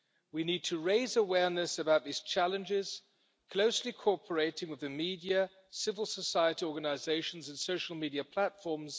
We need to raise awareness about these challenges, closely cooperating with the media, civil society organisations and social media platforms.